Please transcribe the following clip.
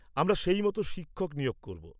আমরা সেই মতো শিক্ষক নিয়োগ করব।